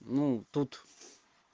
ну тут